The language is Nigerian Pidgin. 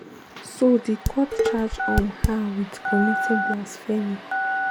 so di court charge um her wit committing blasphemy.